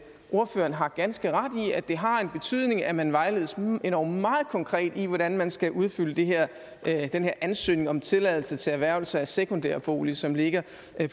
ordføreren har ganske ret i at det har en betydning at man vejledes endog meget konkret i hvordan man skal udfylde den her ansøgning om tilladelse til erhvervelse af sekundærbolig som ligger